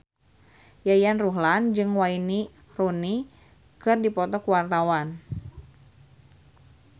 Yayan Ruhlan jeung Wayne Rooney keur dipoto ku wartawan